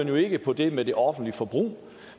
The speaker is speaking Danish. jo ikke på det med det offentlige forbrug